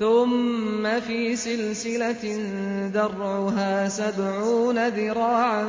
ثُمَّ فِي سِلْسِلَةٍ ذَرْعُهَا سَبْعُونَ ذِرَاعًا